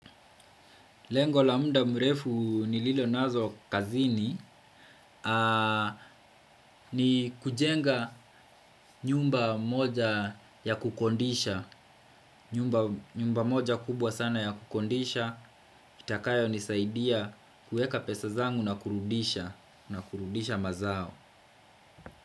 Lengo la muda mrefu nililonazo kazini ni kujenga nyumba moja ya kukodisha, nyumba moja kubwa sana ya kukodisha, itakayo nisaidia kuweka pesa zangu na kurudisha, na kurudisha mazao.